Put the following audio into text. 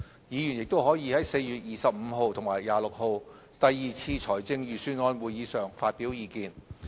議員亦可在4月25日及26日第二次財政預算案會議上發表意見。